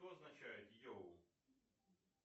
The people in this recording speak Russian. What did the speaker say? что означает йоу